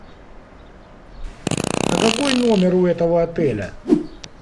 а какой номер у этого отеля